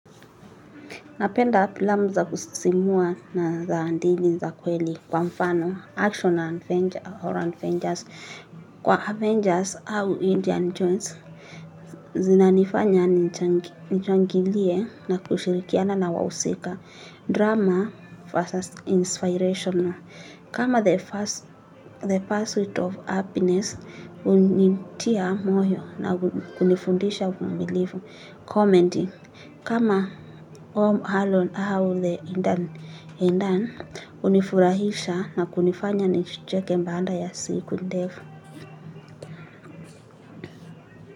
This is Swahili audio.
Napenda pilamu za kusisimua na zaandili za kweli kwa mfano, action or Adventurs, kwa Avengers au Indian Jones, zinanifanya nichangilie na kushirikiana na wahusika, drama versus inspirational. Kama the pursuit of happiness, hunintia moyo na kunifundisha uvumilifu commenting. Kama home Alon au the indan, unifurahisha na kunifanya nicheke mbaanda ya siku ndefu.